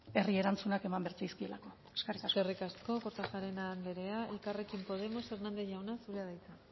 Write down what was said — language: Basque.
herri erantzunak eman behar zaizkiolako eskerrik asko eskerrik asko kortajarena anderea elkarrekin podemos hernández jauna zurea da hitza